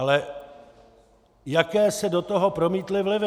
Ale jaké se do toho promítly vlivy?